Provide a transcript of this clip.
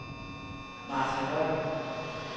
Martha Høj